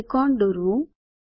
ત્રિકોણ દોરવું